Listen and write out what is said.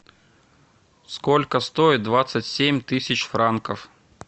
сколько стоит двадцать семь тысяч франков